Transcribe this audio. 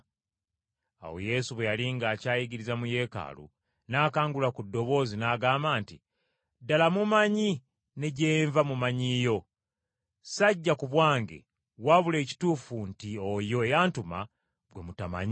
Awo Yesu bwe yali ng’akyayigiriza mu Yeekaalu n’akangula ku ddoboozi n’agamba nti, “Ddala mummanyi ne gye nva mumanyiiyo. Sajja ku bwange wabula ekituufu nti oyo eyantuma gwe mutamanyi.